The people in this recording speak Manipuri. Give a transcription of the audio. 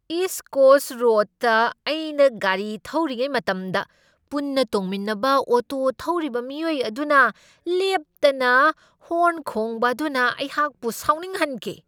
ꯏꯁ ꯀꯣꯁꯠ ꯔꯣꯗꯇ ꯑꯩꯅ ꯒꯥꯔꯤ ꯊꯧꯔꯤꯉꯩ ꯃꯇꯝꯗ ꯄꯨꯟꯅ ꯇꯣꯡꯃꯤꯟꯅꯕ ꯑꯣꯇꯣ ꯊꯧꯔꯤꯕ ꯃꯤꯑꯣꯏ ꯑꯗꯨꯅ ꯂꯦꯞꯇꯅ ꯍꯣꯔꯟ ꯈꯣꯡꯕ ꯑꯗꯨꯅ ꯑꯩꯍꯥꯛꯄꯨ ꯁꯥꯎꯅꯤꯡꯍꯟꯈꯤ꯫